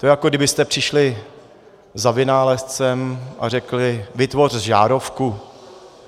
To je, jako kdybyste přišli za vynálezcem a řekli: Vytvoř žárovku!